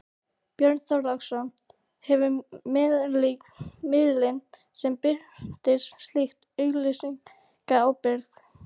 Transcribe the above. Björn Þorláksson: Hefur miðillinn sem birtir slíka auglýsingu ábyrgð?